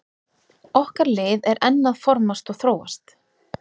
Okkar lið er enn að formast og þróast.